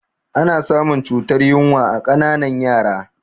Ana samun cutar yunwa a ƙananan yara